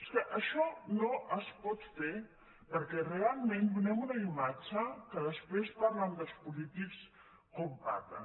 és que això no es pot fer perquè realment donem una imatge que després parlen dels polítics com en parlen